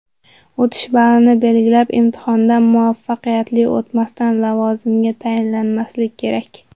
O‘tish balini belgilab, imtihondan muvaffaqiyatli o‘tmasdan lavozimga tayinlanmaslik kerak.